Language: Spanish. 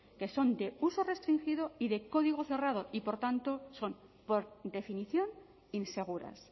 que son de uso restringido y de código cerrado y por tanto son por definición inseguras